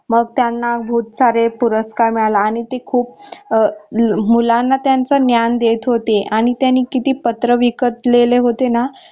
मग त्यांना खूप सारे पुरस्कार मिळाले आणि ते खूप अं मुलांना त्यांच ज्ञान देत होते आणि त्यांनी किती पत्र विकलेले होते ना